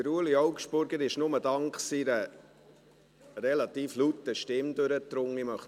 Ueli Augstburger ist nur dank seiner relativ lauten Stimme durchgedrungen.